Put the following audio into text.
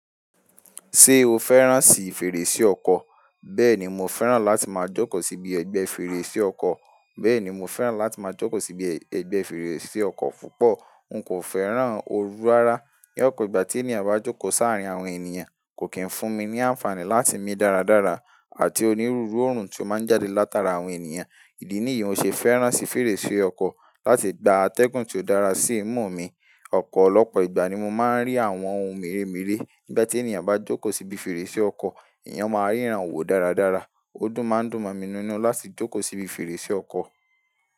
Ṣé o fẹ́ràn si fèrèsé ọkọ̀? Bẹ́ẹ̀ni, mo fẹ́ràn láti máa jókòó síbi ẹgbẹ́ fèrèsé ọkọ̀. Bẹ́ẹ̀ni, mo fẹ́ràn láti máa jókòó síbi ẹgbẹ́ fèrèsé ọkọ̀ púpọ̀. N kò fẹ́ràn oru rara. Ní ọ̀pọ̀ ìgbà tí ènìyàn bá jókòó sáàrin àwọn ènìyàn kò kín fún mi ní àǹfààní láti mí dáradára àti onírúurú òórùn tó máa ń jáde látara àwọn ènìyàn. Ìdí nìyí mo ṣe fẹ́ràn si fèrèsé ọkọ̀ láti gba atẹ́gùn tó dára sí ìmú mi. Ọ̀pọ̀lọpọ̀ ìgbà ni mo máa ń rí àwọn ohun mèremère nígbà tí ènìyàn bá jókòó síbi fèrèsé ọkọ̀. Eeyan máa ríran wò dáradára. Ó tùn máa ń dùn mí nínú láti jókòó síbi fèrèsé ọkọ̀.